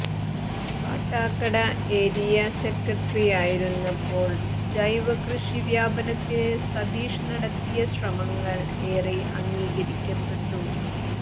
Kattakada area സെക്രട്ടറിയായിരുന്നപ്പോൾ് ജൈവകൃഷി വ്യാപനത്തിന് സതീഷ് നടത്തിയ ശ്രമങ്ങൾ ഏറെ അംഗീകരിക്കപ്പെട്ടു